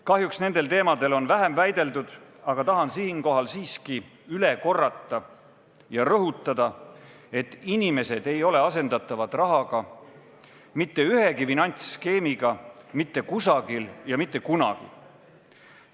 Kahjuks on nendel teemadel vähem väideldud, aga tahan siinkohal siiski üle korrata ja rõhutada, et inimesed ei ole asendatavad rahaga, mitte ühegi finantsskeemiga, mitte kusagil ja mitte kunagi.